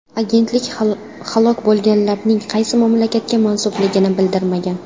Agentlik halok bo‘lganlarning qaysi mamlakatga mansubligini bildirmagan.